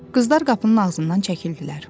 Qızlar qapının ağzından çəkildilər.